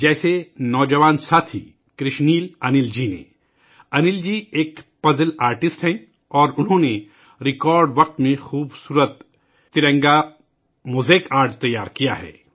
جیسے نوجوان ساتھی، کرشنیل انل جی نے ، جو ایک پزل آرٹسٹ ہیں ، انہوں نے ریکارڈ وقت میں خوبصورت ترنگا موزیک آرٹ تیار کیا ہے